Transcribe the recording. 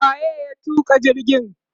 wa ye ya tuka jirgin?